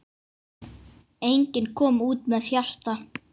Enginn kom út með hjarta.